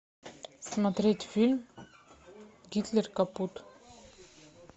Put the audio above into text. смотреть фильм гитлер капут